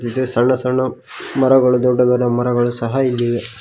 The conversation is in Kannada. ಇದೆ ಸಣ್ಣ ಸಣ್ಣ ಮರಗಳು ದೊಡ್ಡ ದೊಡ್ಡ ಮರಗಳು ಸಹ ಇಲ್ಲಿ ಇವೆ.